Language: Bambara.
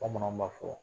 Bamananw b'a fɔ